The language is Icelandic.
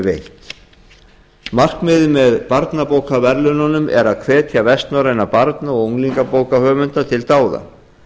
veitt markmiðið með barnabókaverðlaununum er að hvetja vestnorræna barna og unglingabókahöfunda til dáða